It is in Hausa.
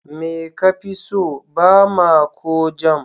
Me kafi so, Bama ko Jam?